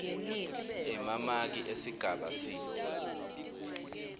emamaki esigaba c